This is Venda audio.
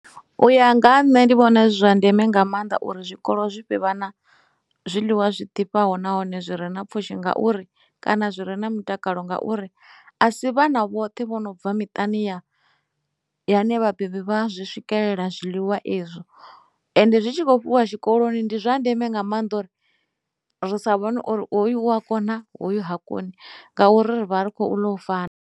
U ya nga ha nṋe ndi vhona zwi zwa ndeme nga maanḓa uri zwikolo zwivhe vha na zwiḽiwa zwi ḓivhaho nahone zwi re na pfhushi ngauri kana zwire na mutakalo ngauri a si vhana vhoṱhe vho no bva miṱani ya yone vhabebi vha zwi swikelela zwiḽiwa ezwo ende zwi tshi kho fhiwa tshikoloni ndi zwa ndeme nga maanḓa uri ri sa vhona uri hoyu u a kona hoyu ha koni ngauri ri vha ri khou ḽa u